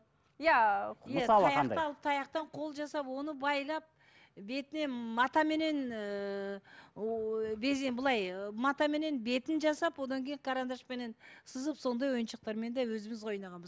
иә мысалы қандай таяқты алып таяқтан қол жасап оны байлап бетіне матаменен ііі былай матаменен бетін жасап одан кейін карандашпенен сызып сондай ойыншықтармен де өзіміз ойнағанбыз